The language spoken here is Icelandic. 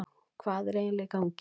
Hvað er eiginlega í gangi?